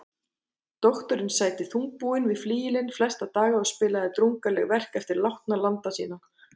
Doktorinn sæti þungbúinn við flygilinn flesta daga og spilaði drungaleg verk eftir látna landa sína.